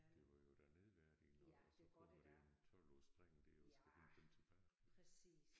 Det var jo da nedværdigende og så kommer der en tolvårs dreng der og skal hente dem tilbage